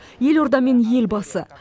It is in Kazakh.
елорда мен елбасы